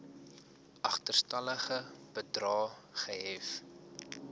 agterstallige bedrae gehef